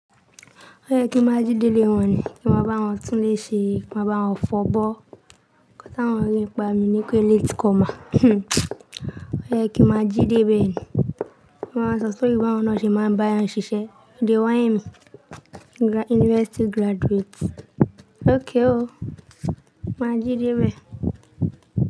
Ó yẹ kí máa jí dé ilé wọn ni, kí máa bá wọn tún lè ṣe, kí máa bá wọn fọ́bọ̀. Ǹkan tà wọn rí ń pa mi ni pé late comer. Ó yẹ kí máa jí dé ibẹ̀ ni. Wọn máa ń sọ story bí àwọn nà ṣe máa ń bá yan ṣiṣẹ́. You dey whine me university graduate. Okay o. Máa jí dé ibẹ̀.